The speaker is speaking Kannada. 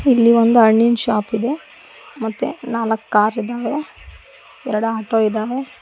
ಇಲ್ಲಿ ಒಂದು ಹಣ್ಣಿನ್ ಶಾಪಿದೆ ಮತ್ತೆ ನಾಲಕ್ ಕಾರಿದಾವೆ ಎರಡ್ ಆಟೋ ಇದಾವೆ.